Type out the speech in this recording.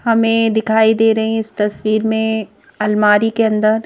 हमें दिखाई दे रही है इस तस्वीर में अलमारी के अंदर--